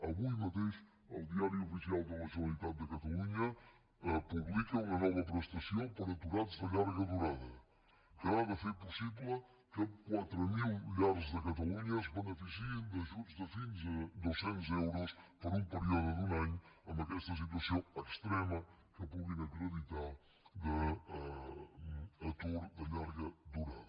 avui mateix el diari oficial de la generalitat de catalunya publica una nova prestació per a aturats de llarga durada que ha de fer possible que quatre mil llars de catalunya es beneficiïn d’ajuts de fins a dos cents euros per un període d’un any en aquesta situació extrema que puguin acreditar d’atur de llarga durada